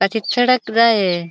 पाछी सड़क जाहे.